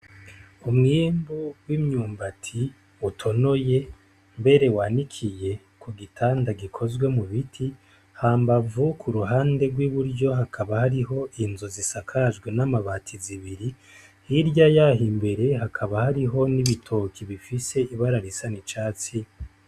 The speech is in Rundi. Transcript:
Umwimbu w'imyumbati utonoye, mbere wanikiye ku gitanda gikozwe gikozwe mu biti. Hambavu ku ruhande rw'i buryo hakaba hariho inzu zisakajwe n'amabati zibiri, hirya y'aho imbere hakaba hariho n'ibitoke bifise ibara risa n'icatsi.